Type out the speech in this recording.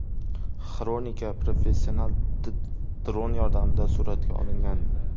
Xronika professional dron yordamida suratga olingan.